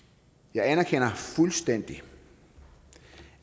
jeg anerkender fuldstændigt